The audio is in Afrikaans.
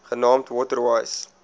genaamd water wise